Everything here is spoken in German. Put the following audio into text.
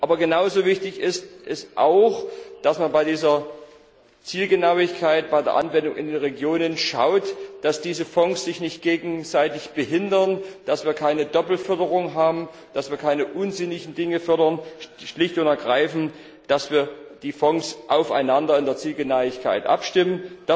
Aber genauso wichtig ist es auch, dass man bei dieser Zielgenauigkeit bei der Anwendung in den Regionen schaut, dass diese Fonds sich nicht gegenseitig behindern, dass wir keine Doppelförderung haben, dass wir keine unsinnigen Dinge fördern, schlicht und ergreifend, dass wir die Fonds in der Zielgenauigkeit aufeinander abstimmen.